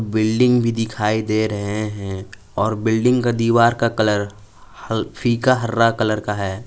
Building भी दिखाई दे रहे हैं और बिल्डिंग के दीवार का कलर ह फीका हरा कलर का है।